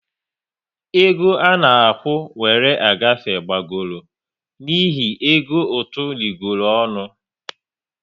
E go à na-akwụ wéré agafe gbagọrọ n'ihi ego ụtụ rịgooronu